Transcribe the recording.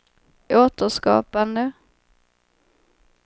återskapande